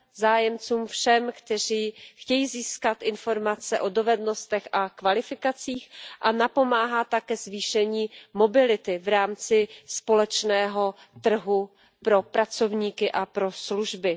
zájemcům, kteří chtějí získat informace o dovednostech a kvalifikacích, a napomáhá také zvýšení mobility v rámci společného trhu pro pracovníky a pro služby.